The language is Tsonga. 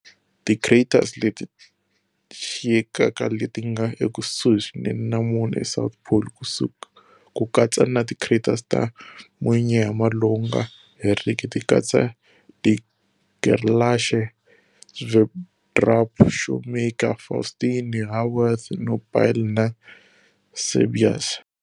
Ti craters leti xiyekaka leti nga ekusuhi swinene na Moon's south pole, ku katsa na ti craters ta munyama lowu nga heriki ti katsa De Gerlache, Sverdrup, Shoemaker, Faustini, Haworth, Nobile na Cabeus.